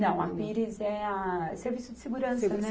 Não, a Pires é a, serviço de segurança, né?